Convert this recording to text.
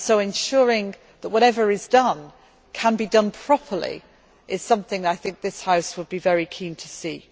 Ensuring that whatever is done can be done properly is something I think this House would be very keen to see.